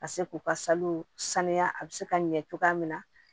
Ka se k'u ka salon saniya a bi se ka ɲɛ cogoya min na